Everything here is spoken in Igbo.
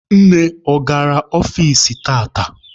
Nne, ọ gara ọfici tata?